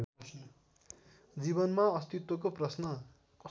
जीवनमा अस्तित्वको प्रश्न